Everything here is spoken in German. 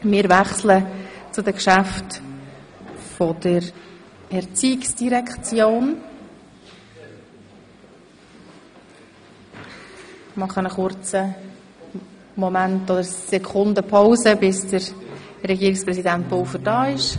Damit kommen wir zu den Geschäften der ERZ und warten kurz, bis Herr Regierungspräsident Pulver eintrifft.